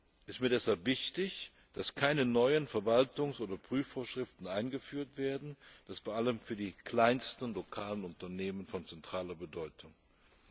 Es ist mir deshalb wichtig, dass keine neuen Verwaltungs oder Prüfvorschriften eingeführt werden, was vor allem für die kleinsten lokalen Unternehmen von zentraler Bedeutung ist.